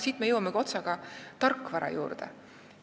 Siit me jõuamegi otsaga tarkvara juurde.